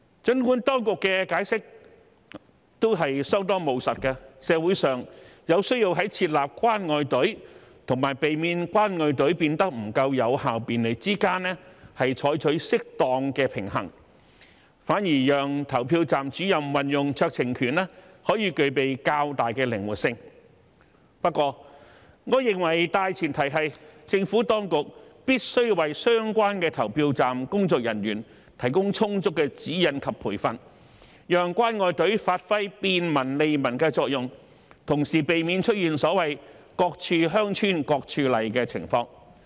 儘管當局的解釋相當務實，社會有需要在設立"關愛隊"與避免"關愛隊"變得不夠有效便利之間取得適當的平衡，反而讓投票站主任運用酌情權可具備較大的靈活性；不過，我認為大前提是，政府當局必須為相關的投票站工作人員提供充足的指引及培訓，讓"關愛隊"發揮便民利民的作用，同時避免出現所謂"各處鄉村各處例"的情況。